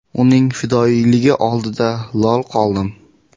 Uning fidoyiligi oldida lol qoldim.